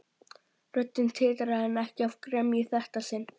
Röddin titraði en ekki af gremju í þetta sinn.